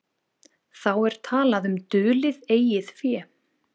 Þá er talað um dulið eigið fé.